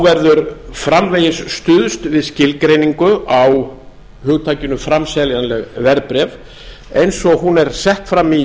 verður framvegis stuðst við skilgreiningu á hugtakinu framseljanleg verðbréf eins og hún er sett fram í